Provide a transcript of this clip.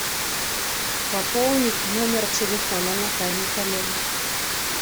пополнить номер телефона натальи коллега